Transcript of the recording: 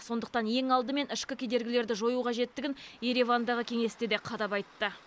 сондықтан ең алдымен ішкі кедергілерді жою қажеттігін еревандағы кеңесте де қадап айтты